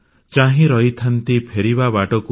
ଚାହିଁ ରହିଥାନ୍ତି ଫେରିବା ବାଟକୁ